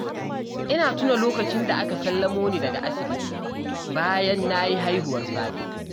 Ina tuna lokacin da aka sallamo ni daga asibiti bayan na yi haihuwar fari